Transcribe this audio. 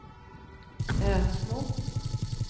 Ösmo